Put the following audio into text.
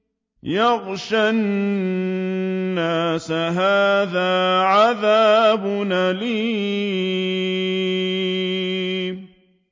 يَغْشَى النَّاسَ ۖ هَٰذَا عَذَابٌ أَلِيمٌ